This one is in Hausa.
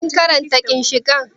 Shin kun ji daɗin karanta ginshiƙan?